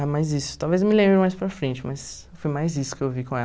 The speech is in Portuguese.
Ah, mas isso, talvez me lembre mais para frente, mas foi mais isso que eu vi com